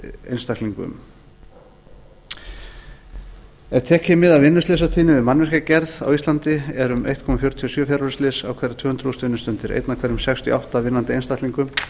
einstaklingum ef tekið er mið af vinnuslysatíðni við mannvirkjagerð á íslandi er um einn komma fjörutíu og sjö fjarveruslys á hverjar tvö hundruð þúsund vinnustundir eitt af hverjum sextíu og átta vinnandi einstaklingum